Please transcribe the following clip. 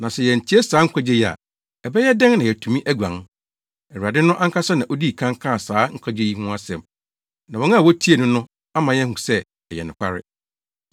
Na sɛ yɛantie saa nkwagye yi a, ɛbɛyɛ dɛn na yɛatumi aguan? Awurade no ankasa na odii kan kaa saa nkwagye yi ho asɛm na wɔn a wotiee no no ama yɛahu sɛ ɛyɛ nokware.